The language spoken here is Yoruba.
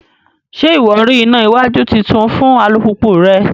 Ṣe iwọ rí ìnà iwájú títún fún alupupu rẹ?